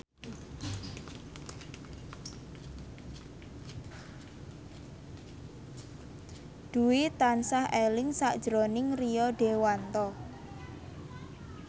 Dwi tansah eling sakjroning Rio Dewanto